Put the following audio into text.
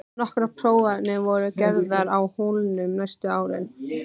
Nokkrar prófanir voru gerðar á holunni næstu árin.